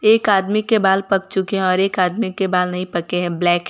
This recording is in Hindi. एक आदमी के बाल पक चुके है और एक आदमी के बाल नहीं पके हैं ब्लैक हैं।